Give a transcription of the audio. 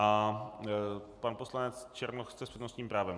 A pan poslanec Černoch chce s přednostním právem.